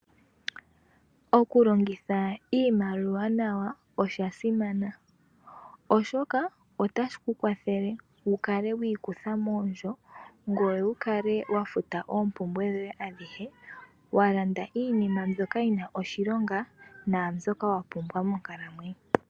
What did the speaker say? Oku longitha iimaliwa nawa osha simana oshoka otashi ku kwathele wu kale wi ikutha moondjo, ngoye wu kale wa futa oompumbwe dhoye adhihe, wa landa iinima mbyoka yi na oshilonga naambyoka wa pumbwa monkalamwenyo.